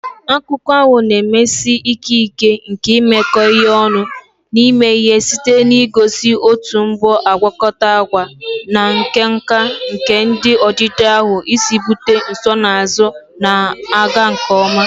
Akụkọ ahụ na-emesi ike ike nke imekọ ihe ọnụ na ime ihe site n'igosi otu mbọ agwakọta agwa na nka nka nke ndị odide ahụ si ebute nsonaazụ na-aga nke ọma.